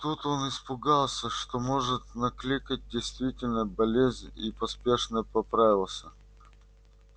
тут он испугался что может накликать действительно болезнь и поспешно поправился